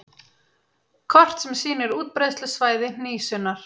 Kort sem sýnir útbreiðslusvæði hnísunnar.